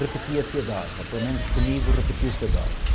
repetia-se a dose, ou pelo menos comigo repetiu-se a dose.